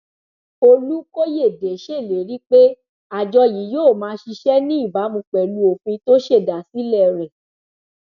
olùkòyédè ṣèlérí pé àjọ yìí yóò máa ṣiṣẹ níbàámu pẹlú òfin tó ṣèdásílẹ rẹ